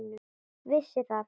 Vissi það.